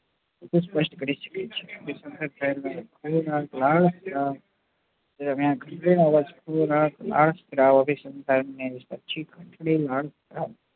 સ્પષ્ટ કરી શકે છે લાળ